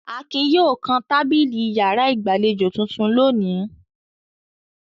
Akin yóò kan tábìlì ìyàrá ìgbàlejò tuntun lónìí.